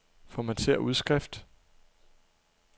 Formatér udskrift.